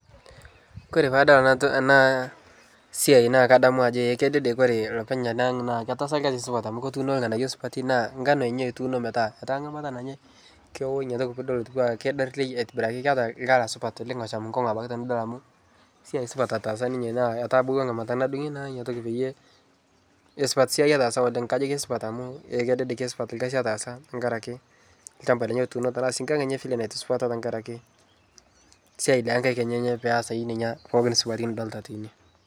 Kore paadol ana to ana siai naa kadamu ajo eh kedede kore lopeny anaang' naa ketaasa lgasi supat amu ketuuno lng'anayo supati naa ngano ninye etuuno metaa etaa ng'amata nanyae kewo inyia toki piidol etuwaa keidarlei aitibiraki keata lkala supat oleng' losham nkong'u abaki tinidol amu siai supat otaasa ninye naa etabauwa ng'amata nadung'i naa inia toki payie esupat siai otaasa oleng' kajo kesupat amuu eh kedede kesupat lgasi ataasa ntankare ake lchamba lenye otuuno tanaa sii nkang' enye vile naitusupata ntankare ake siai lenkaik enyenye peasae neina pooki supati nidolita teine.